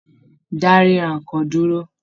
Dá rírà nnkan dúró!